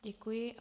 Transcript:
Děkuji.